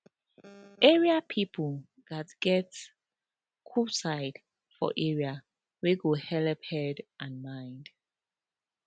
area people gatz get cool side for area wey go helep head and mind